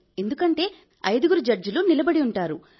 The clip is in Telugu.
ఎందుకంటే ఐదుగురు జడ్జీలు నిలబడి ఉంటారు